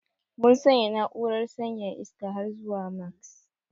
Mun sanya na'urar sanyaya iska har zuwa max.